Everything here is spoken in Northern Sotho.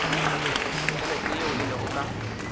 tšhelete yeo e lego ka